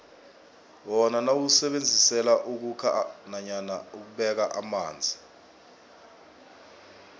wona siwusebenzisela ukhukha nanyana ukubeka amanzi